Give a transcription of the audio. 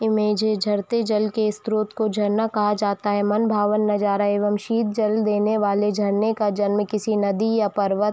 image झरते जल के स्त्रोत को झरना कहा जाता है मन भवन नज़ारा एवं शीत जल देने वाले झरने का जन्म की नदी या पर्वत --